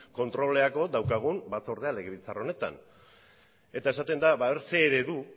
kontrolerako daukagun batzordea legebiltzar honetan eta esaten da zer eredu